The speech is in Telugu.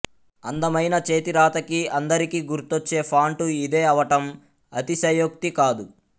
అందమయిన చేతిరాతకి అందరికి గుర్తొచ్చే ఫాంటు ఇదే అవటం అతిశయోక్తి కాదు